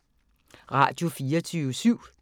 Radio24syv